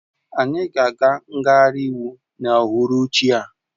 Anyị ga-aga ngagharị iwu n'uhuruchi a